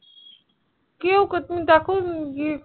কেউ করবে দেখো গিয়ে